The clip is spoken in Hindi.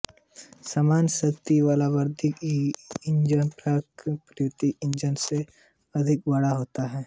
समान शक्ति वाला वहिर्दहन इंजन प्रायः अन्तर्दहन इंजन से अधिक बड़ा होता है